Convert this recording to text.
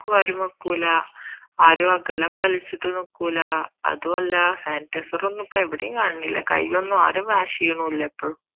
ആരും വെക്കൂല ആരും അകലം പാലിച്ചിട്ടു നിക്കൂല അതുമല്ല sanitiser ഒന്നും ഇപ്പൊ എവിടെയും കാണുന്നില്ല കൈ ഒന്നും ആരും wash ചെയ്യുന്നില്ല ഇപ്പൊ